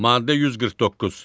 Maddə 149.